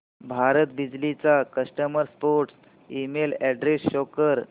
भारत बिजली चा customer support email address show कर